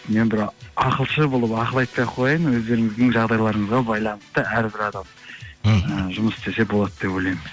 мен бір ақылшы болып ақыл айтпай ақ қояйын өздеріңіздің жағдайларыңызға байланысты әрбір адам мхм жұмыс істесе болады деп ойлаймын